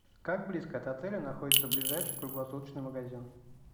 как близко от отеля находится ближайший круглосуточный магазин